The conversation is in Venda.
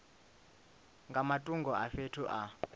nga matungo a fhethu a